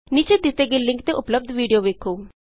ਨੀਚੇ ਦਿਤੇ ਗਏ ਲਿੰਕ ਤੇ ਉਪਲੱਭਦ ਵੀਡੀਉ ਵੇਖੋ